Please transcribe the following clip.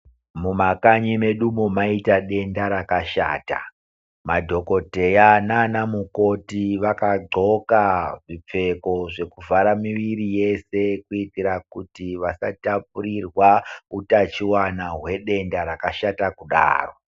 Mumakanyi medumo maita denda rakashata, madhokodheya nana mukoti vakadhloka zvipfeko zvekuvhara miviri yese. Kuitira kuti vasatapurirwa utachivana hwedenda rakashata kudaro.